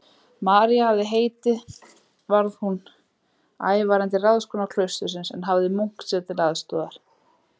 María hafði heitið varð hún ævarandi ráðskona klaustursins, en hafði munk sér til aðstoðar.